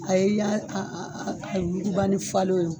A ye i y'a a yugubani falen wo